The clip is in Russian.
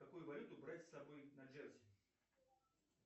какую валюту брать с собой на джерси